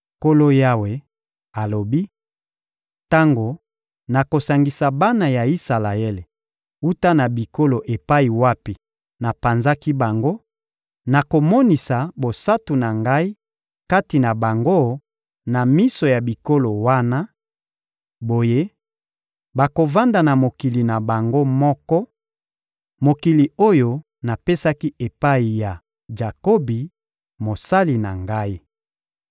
Nkolo Yawe alobi: Tango nakosangisa bana ya Isalaele wuta na bikolo epai wapi napanzaki bango, nakomonisa bosantu na Ngai kati na bango na miso ya bikolo wana; boye, bakovanda na mokili na bango moko, mokili oyo napesaki epai ya Jakobi, mosali na Ngai.